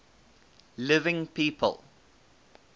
living people